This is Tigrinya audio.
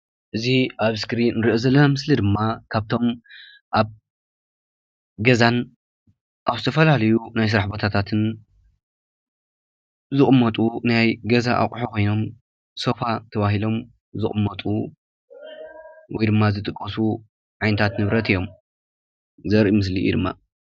እዚ ኣብ እስክሪን ንሪኦ ዘለና ምስሊ ድማ ካብቶም ኣብ ገዛን ኣብ ዝተፈላለዩ ናይ ስራሕ ቦታትን ዝቅመጡ ናይ ገዛ ኣቁሑ ኮይኖም ሶፋ ተባሂሎም ዝቅመጡ ውይ ድማ ዝጥቀሱ ዓይነታት ንብረት እዩም ዘርኢ ምስሊ እዩ ድማ።